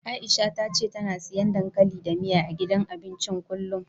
Aisha ta ce tana siyan dankali da miya, a gidan abincin kullum.